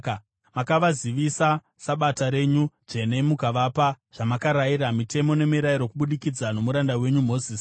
Makavazivisa Sabata renyu dzvene mukavapa zvamakarayira, mitemo nemirayiro kubudikidza nomuranda wenyu Mozisi.